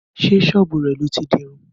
Sé sọ́bù rẹ̀ lọ ti dirun?